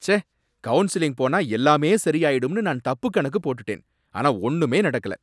ச்சே! கவுன்சிலிங் போனா எல்லாமே சரியாயிடும்னு நான் தப்புக் கணக்கு போட்டுட்டேன், ஆனா ஒன்னுமே நடக்கல